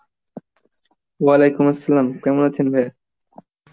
আলাইকুম আসসালাম, কেমন আছেন ভায়া?